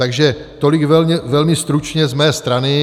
Takže tolik velmi stručně z mé strany.